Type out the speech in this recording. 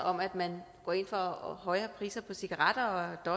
om at man går ind for højere priser på cigaretter og